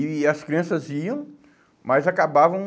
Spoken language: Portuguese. E e as crianças iam, mas acabavam...